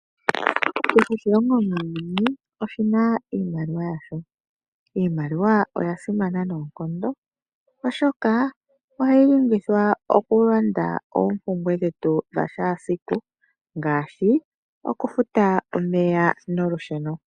Kehe oshilongo muuyuni oshina iimaliwa yasho . Iimaliwa oya simana noonkondo , oshoka ohayi longithwa okulanda oompumbwe dhetu dhakehe esiku ngaashi okufuta omeya nolusheno.